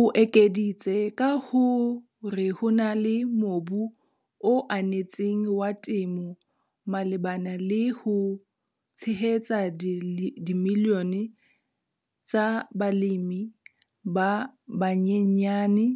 O ekeditse ka ho re ho na le mobu o anetseng wa temo malebana le ho tshehetsa dimilione tsa balemi ba banyenyane